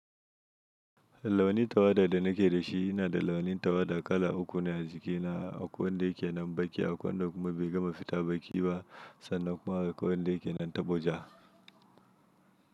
Launi tawada da na ke da shi yana da launin tawada kala uku ne a jiki na akawun da ke nan baƙi, akawun da kuma bai gama fita baƙi ba sannan kuma akawun da ke nan taɓo ja.